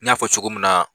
N y'a fɔ cogo min na